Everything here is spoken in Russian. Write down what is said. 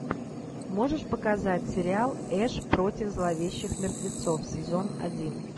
можешь показать сериал эш против зловещих мертвецов сезон один